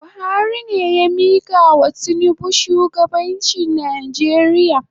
Buhari ne ya mikawa tinubu shugabanchi Nijeria